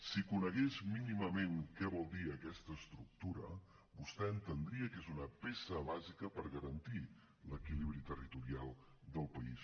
si conegués mínimament què vol dir aquesta estructura vostè entendria que és una peça bàsica per garantir l’equilibri territorial del país